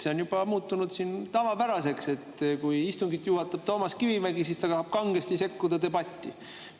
See on juba muutunud tavapäraseks, et kui istungit juhatab Toomas Kivimägi, siis ta tahab kangesti debatti sekkuda.